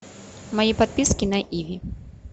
мои подписки на иви